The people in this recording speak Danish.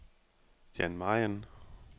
Jan Mayen